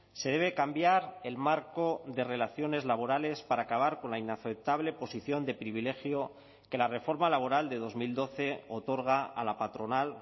se debe cambiar el marco de relaciones laborales para acabar con la inaceptable posición de privilegio que la reforma laboral de dos mil doce otorga a la patronal